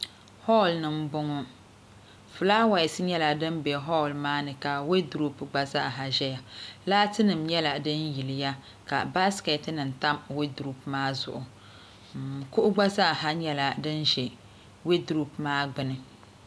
hɔɔli ni m-bɔŋɔ flaawaasi nyɛla din be hɔɔli maa ni ka weedropu gba zaaha ʒeya laatinima nyɛla din yiliya ka baasikeetinima tam weedropu maa zuɣu kuɣu gba zaaha nyɛla din ʒe weedropu maa gbuni